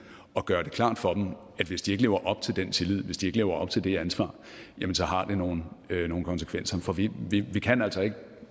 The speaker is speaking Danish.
og gøre det klart for dem at hvis de ikke lever op til den tillid hvis de ikke lever op til det ansvar jamen så har det nogle konsekvenser for vi vi kan altså ikke